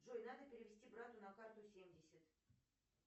джой надо перевести брату на карту семьдесят